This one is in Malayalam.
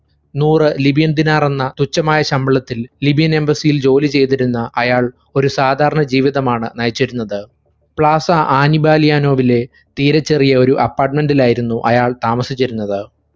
നൂറ് libian ദിനാർ എന്ന തുച്ഛമായ ശമ്പളത്തിൽ libian embassy ഇൽ ജോലിചെയ്തിരുന്ന അയാൾ ഒരു സാധാരണ ജീവിതമാണ് നയിച്ചിരുന്നത്. പ്ലാസ ആനീബലിയോവിലെ തീരെച്ചെറിയ ഒരു apartment ഇലായിരുന്നു അയാൾ താമസിച്ചിരുന്നത്.